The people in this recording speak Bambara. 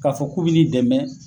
K'a fɔ k'u bi n'i dɛmɛ.